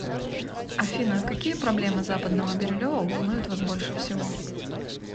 афина какие проблемы западного бирюлево волнуют вас больше всего